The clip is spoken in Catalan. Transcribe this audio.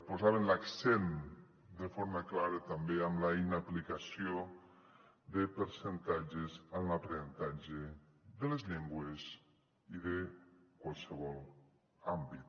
posaven l’accent de forma clara també en la inaplicació de percentatges en l’aprenentatge de les llengües i de qualsevol àmbit